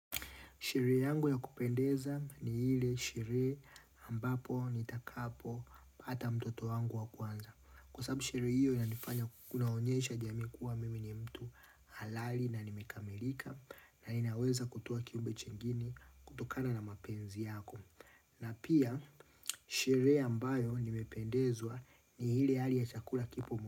Sherehe yangu ya kupendeza ni ile sherehe ambapo nitakapo pata mtoto wangu wa kwanza. Kwa sababu sherehe hiyo yanifanya kunaonyesha jamii kuwa mimi ni mtu halali na nimekamilika na ninaweza kutoa kiumbe jingine kutokana na mapenzi yako. Na pia sherehe ambayo nimependezwa ni ile hali ya chakula kipo mo.